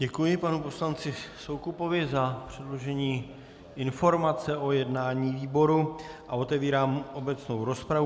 Děkuji panu poslanci Soukupovi za předložení informace o jednání výboru a otevírám obecnou rozpravu.